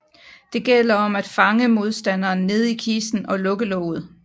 Det gælder om at fange modstanderen nede i kisten og lukke låget